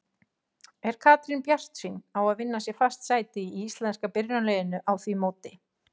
Er Katrín bjartsýn á að vinna sér fast sæti í íslenska byrjunarliðinu á því móti?